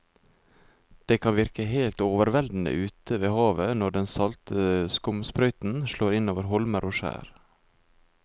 Det kan virke helt overveldende ute ved havet når den salte skumsprøyten slår innover holmer og skjær.